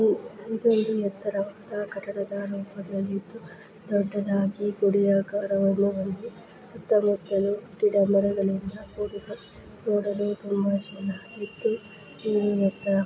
ಇದೊಂದು ಎತ್ತರದ ಕಟ್ಟಡ ರೀತಿಯಲಿದ್ದು ದೊಡ್ಡ ದಾಗಿ ಗುಡಿ ಆಕಾರವನ್ನು ಹೊಂದಿ ನೋಡಲು ತುಂಬಾ ಚೆನ್ನಾಗಿ ಇದ್ದು ಇದು ಎತ್ತರ--